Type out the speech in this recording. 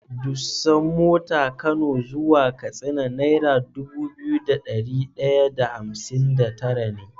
Dusan mota kano zuwa katsina naira Dubu biyu da dari daya da hamsin da tara ne